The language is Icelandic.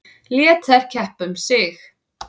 Lét þær keppa um sig.